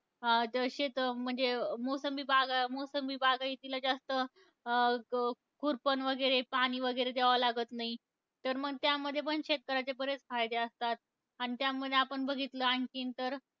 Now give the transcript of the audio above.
अं द शेत म्हणजे मोसंबी बागा, मोसंबी बागायतीला जास्त अं खुरपण वगैरे, पाणी वगैरे द्यावं लागत नाही. तर मग त्यामध्ये पण शेतकऱ्यांचे बरेच फायदे असतात. आणि त्यामध्ये आपण बघितलं आणखीन तर,